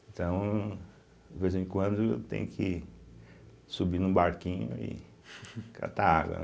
Então, de vez em quando, eu tenho que subir num barquinho e catar água, né?